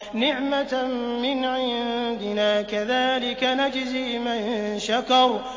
نِّعْمَةً مِّنْ عِندِنَا ۚ كَذَٰلِكَ نَجْزِي مَن شَكَرَ